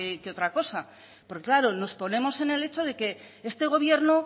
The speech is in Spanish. que otra cosa porque claro nos ponemos en el hecho de que este gobierno